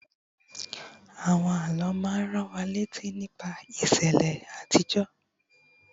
àwọn àlọ ma n ran wa létí nípa ìṣẹlẹ àtijó